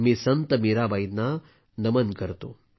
मी संत मीराबाईंना नमन करतो